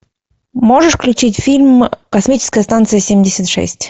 можешь включить фильм космическая станция семьдесят шесть